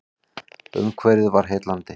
Umhverfið var heillandi.